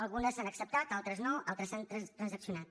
algunes s’han acceptat altres no altres s’han transaccionat